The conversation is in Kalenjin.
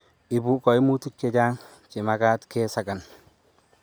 ibu kaimutik che chang' che mekat ke sakan